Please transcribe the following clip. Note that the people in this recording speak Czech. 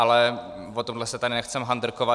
Ale o tohle se tady nechceme handrkovat.